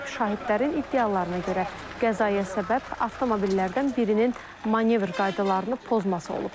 Şahidlərin iddialarına görə qəzaya səbəb avtomobillərdən birinin manevr qaydalarını pozması olub.